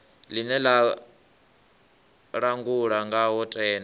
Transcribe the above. ḽine ḽa langulwa ngawo tenda